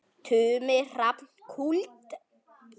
Tumi Hrafn Kúld.